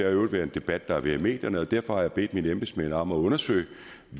i øvrigt været en debat der har været i medierne derfor har jeg bedt mine embedsmænd om at undersøge